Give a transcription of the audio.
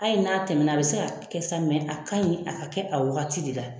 A ye n'a tɛmɛna a bi se ka kɛ sa a kaɲi a ka kɛ a wagati de la